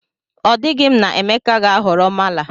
O dighi m na Emeka ga-ahọrọ mala